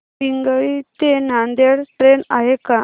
पिंगळी ते नांदेड ट्रेन आहे का